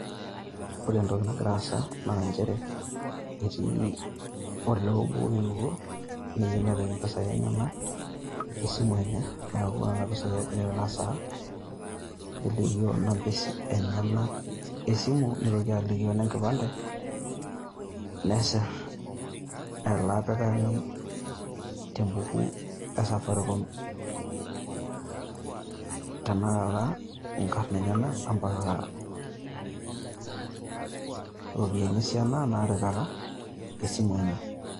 Ore entoki nagira aasa naa nchere etii olee obo oewuo neyieu nepik impisai esimu enye, neeku nena pisai egira aitarasaa, nelikioo number enyenak esimu, nitoki alikioo inenkipande nesirr ele apikani te embuku e Safaricom tenekata inkarn enyenak mpaka iropiyiani esiana naatipika esimu enye.